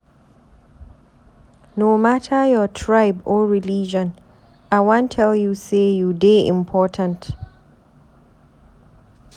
No mata your tribe or religion, I wan tell you say you dey important.